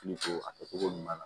a kɛcogo ɲuman na